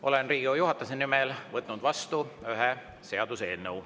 Olen Riigikogu juhatuse nimel vastu võtnud ühe seaduseelnõu.